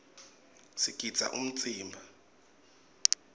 sigidza umtsimba